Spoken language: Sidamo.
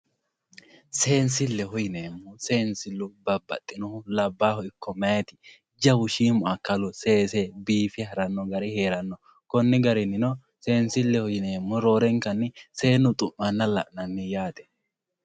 seensille yineemmo seensillu babbaxinohu labbahu ikko mayaati jawu shiimu akkalu seese biife haranno gari heeranno konni garinnino seensilleho yineemmohu roorenkanni seennu xu'manna la'nanni yaate.